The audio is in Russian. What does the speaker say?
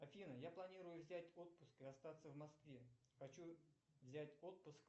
афина я планирую взять отпуск и остаться в москве хочу взять отпуск